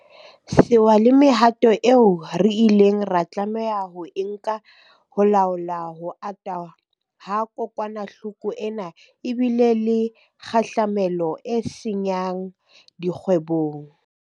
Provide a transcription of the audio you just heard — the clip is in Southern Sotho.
Sewa le mehato eo re ileng ra tlameha ho e nka ho laola ho ata ha kokwanahloko ena e bile le kgahlamelo e senya ng dikgwebong.